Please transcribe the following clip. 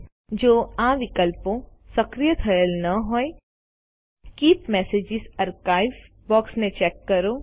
Iજો આ વિકલ્પો સક્રિય થયેલ ન હોય તો કીપ મેસેજ આર્કાઇવ્સ બોક્ષ ને ચેક કરો